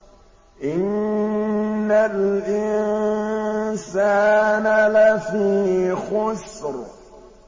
إِنَّ الْإِنسَانَ لَفِي خُسْرٍ